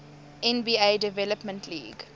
nba development league